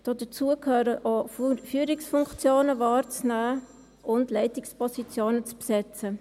Dazu gehört auch, Führungsfunktionen wahrzunehmen und Leitungspositionen zu besetzen.